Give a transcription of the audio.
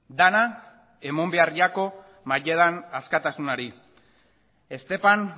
dena eman behar jako askatasunari estepan